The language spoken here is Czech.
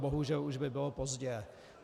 Bohužel už by bylo pozdě.